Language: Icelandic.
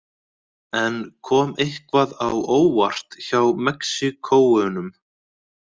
En kom eitthvað á óvart hjá Mexíkóunum?